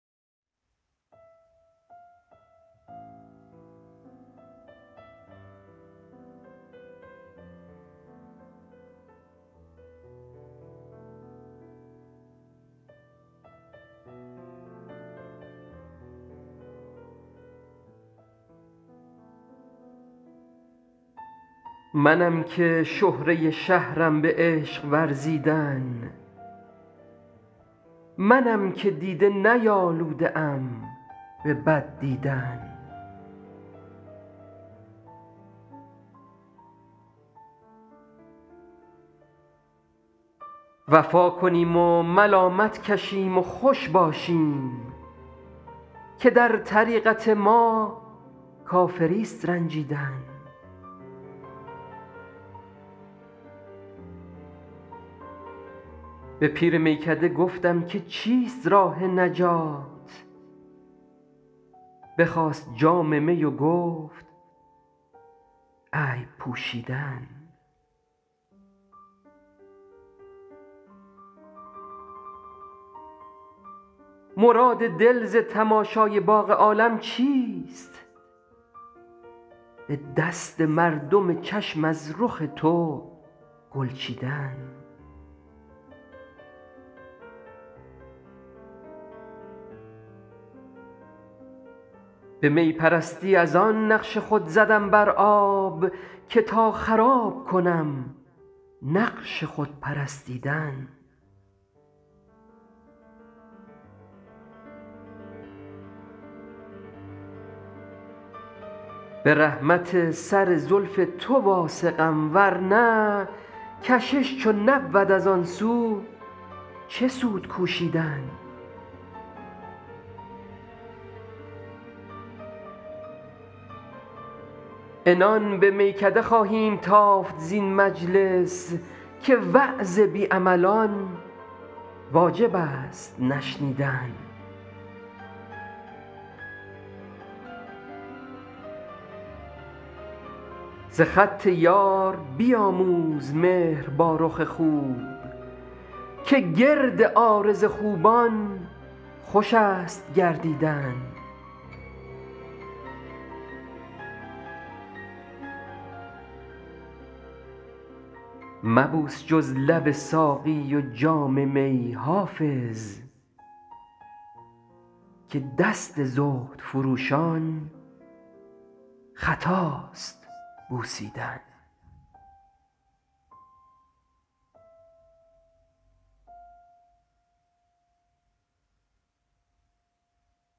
منم که شهره شهرم به عشق ورزیدن منم که دیده نیالوده ام به بد دیدن وفا کنیم و ملامت کشیم و خوش باشیم که در طریقت ما کافریست رنجیدن به پیر میکده گفتم که چیست راه نجات بخواست جام می و گفت عیب پوشیدن مراد دل ز تماشای باغ عالم چیست به دست مردم چشم از رخ تو گل چیدن به می پرستی از آن نقش خود زدم بر آب که تا خراب کنم نقش خود پرستیدن به رحمت سر زلف تو واثقم ورنه کشش چو نبود از آن سو چه سود کوشیدن عنان به میکده خواهیم تافت زین مجلس که وعظ بی عملان واجب است نشنیدن ز خط یار بیاموز مهر با رخ خوب که گرد عارض خوبان خوش است گردیدن مبوس جز لب ساقی و جام می حافظ که دست زهد فروشان خطاست بوسیدن